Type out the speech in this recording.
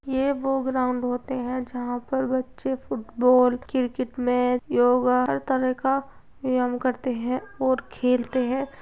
ये वो ग्राउंड होते हैं जहाँ पर बच्चे फुटबॉल क्रिकेट मैच योगा हर तरह का व्यायाम करते हैं और खेलते हैं।